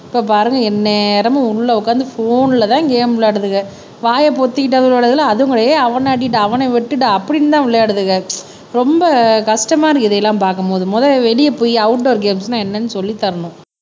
இப்ப பாருங்க எந்நேரமும் உள்ள உக்காந்து போன்லதான் கேம் விளையாடுதுக வாயை பொத்திக்கிட்டாது விளையாடுதுங்களா அதும் கிடையாது ஹே அவனை அடிடா அவனை வெட்டுடா அப்படின்னுதான் விளையாடுதுக. ரொம்ப கஷ்டமா இருக்கு இதையெல்லாம் பார்க்கும் போது முத வெளிய போயி அவுட்டோர் கேம்ஸ்ன்னா என்னன்னு சொல்லித் தரணும்